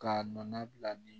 Ka nɔnɔ bila ni